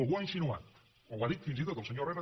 algú ho ha insinuat o ho ha dit fins i tot el senyor herrera